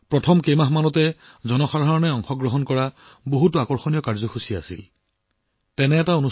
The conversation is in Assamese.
কেৱল প্ৰথম কেইমাহমানৰ কথা কবলৈ গলে জনসাধাৰণৰ অংশগ্ৰহণৰ সৈতে জড়িত বহুতো আকৰ্ষণীয় কাৰ্যসূচী প্ৰত্যক্ষ কৰা হৈছিল